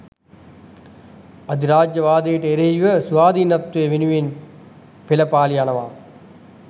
අධිරාජ්‍යවාදයට එරෙහිව ස්වාධීනත්වය වෙනුවෙන් පෙළපාළි යනවා